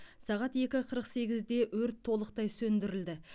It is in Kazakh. сағат екі қырық сегізде өрт толықтай сөндірілді